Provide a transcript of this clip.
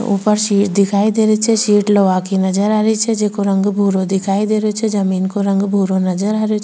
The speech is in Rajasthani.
ऊपर सीट दिखाई दे रही छे सीट लोहा की नजर आ रही छे जेको रंग भूरो दिखाई दे रही छे जमीन को रंग भूरो नजर आ रो छे।